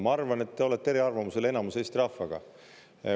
Ma arvan, et te olete eriarvamusel enamuse Eesti rahvaga.